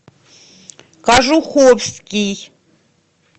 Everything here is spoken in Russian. кожуховский